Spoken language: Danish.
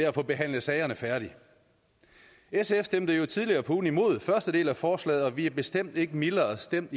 at få behandlet sagerne færdig sf stemte jo tidligere på ugen imod første del af forslaget og vi er bestemt ikke mildere stemt